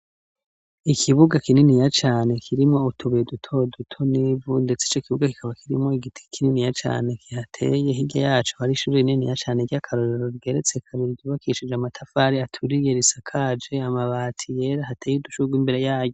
Ikibuga kininiya cane, kirimwo utubuye duto duto, n'ivu, ndetse ico ikibuga, kikaba kirimwo igiti kininiya cane, kihateye; hirya yaco, hari ishure rininiya cane, ry'akarorero rigereretse kabiri, ryubakishije amatafari aturiye, risakaje amabati yera; hateye udushurwe, imbere yayo.